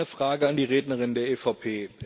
Ich habe eine Frage an die Rednerin der EVP.